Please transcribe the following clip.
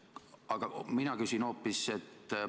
Aga mina küsin hoopis seda.